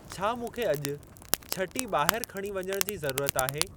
छा मूंखे अॼु छटी ॿाहिरि खणी वञण जी ज़रूरत आहे?